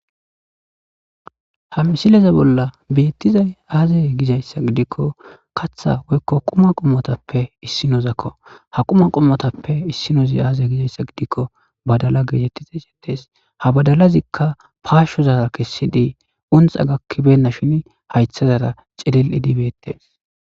ha misileza bolla beettizay aazay gizayssa gidikko kaththa woykko quma qommotappe issinozakko ha quma qommotappe issinozi aazay gizayssa gidikko badala geetettiza sintees ha badalazikka paashozara kessidii unxa gakkibenna shin haythazara cililidi bettees